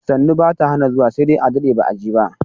Sannu bata hana zuwa sai dai a dade ba'a je ba.